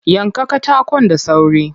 Yanka katakon da sauri.